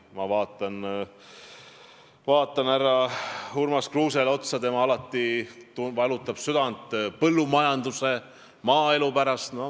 Ma vaatan siin otsa härra Urmas Kruusele, kes alati valutab südant põllumajanduse, maaelu pärast.